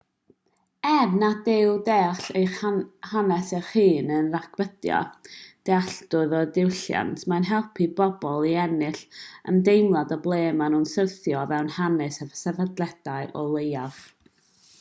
er nad yw deall eich hanes eich hun yn rhagdybio dealltwriaeth o ddiwylliant mae'n helpu pobl i ennill ymdeimlad o ble maen nhw'n syrthio o fewn hanes y sefydliad o leiaf